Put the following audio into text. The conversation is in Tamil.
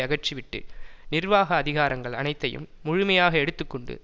அகற்றிவிட்டு நிர்வாக அதிகாரங்கள் அனைத்தையும் முழுமையாக எடுத்து கொண்டு